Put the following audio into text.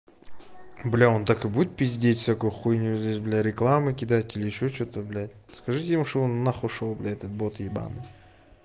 бля он так и будет пиздеть всякую хуйню здесь бля рекламы кидать или ещё что-то блядь скажите ему что бы он нахуй шёл этот бот ебаный